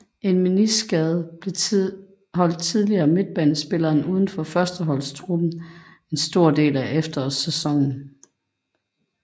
En meniskskade holdt imidlertidigt midtbanespilleren udenfor førsteholdstruppen en stor del af efterårssæsonen